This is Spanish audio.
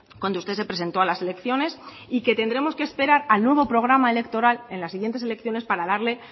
cuando usted se presentó a las elecciones y que tendremos que esperar al nuevo programa electoral en las siguientes elecciones para darle